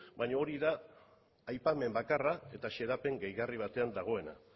baina hori da aipamen bakarra eta xedapen gehigarri batean dagoena